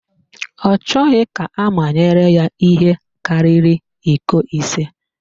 Ọ chọghị ka amanyere ihe karịrị iko ise.